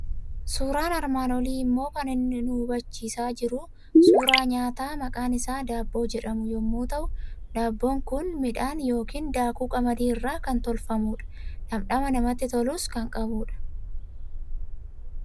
Suuraan armaan olii immoo kan inni nu hubachiisaa jiru suuraa nyaata maqaan isaa daabboo jedhamu yommuu ta'u, daabboon kun midhaan yookiin daakuu qamadii irraa kan tolfamudha. Dhamdhama namatti tolus kan qabudha.